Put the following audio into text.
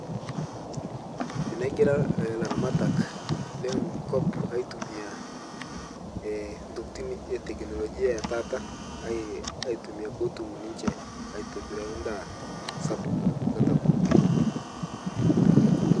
Tenegira elaramatak lee nkop aitumia ntokitin ee tekinolojia ee taata aitumia pee etum ninche aitobira endaa sapuk enkata pookin neeku Aiko nejia